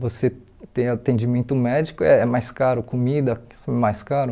Você tem atendimento médico, é mais caro comida, mais caro.